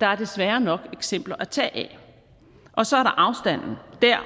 der er desværre nok eksempler at tage af og så